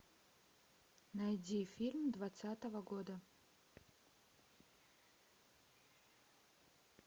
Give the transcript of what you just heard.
найди фильм двадцатого года